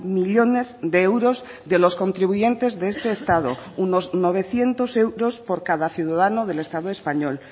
millónes de euros de los contribuyentes de este estado unos novecientos euros por cada ciudadano del estado español